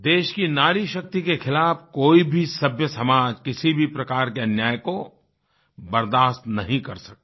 देश की नारी शक्ति के खिलाफ़ कोई भी सभ्य समाज किसी भी प्रकार के अन्याय को बर्दाश्त नहीं कर सकता